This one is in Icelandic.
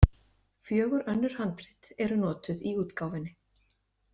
Fjögur önnur handrit eru notuð í útgáfunni.